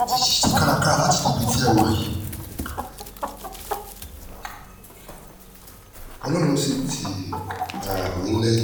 ẹ ti ṣiṣẹ́ kárakára um láti débi tẹ́ ẹ wà yìí ọlọ́run sì tì um yín lẹ́yìn